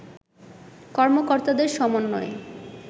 কর্মকর্তাদের সমন্বয়ে